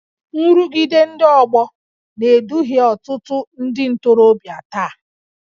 Nrụgide ndị ọgbọ na-eduhie ọtụtụ ndị ntorobịa taa